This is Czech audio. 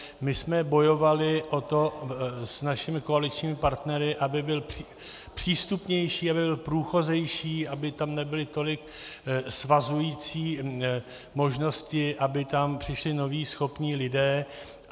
My jsme bojovali o to s našimi koaličními partnery, aby byl přístupnější, aby byl průchodnější, aby tam nebyly tolik svazující možnosti, aby tam přišli noví, schopní lidé.